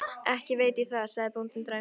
Ekki veit ég það, sagði bóndinn dræmt.